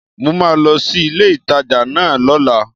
Màá lo sí ilé ìtajà náà lóla